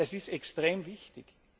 Das ist extrem wichtig.